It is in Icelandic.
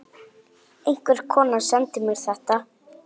Einhver kona sendi mér þetta.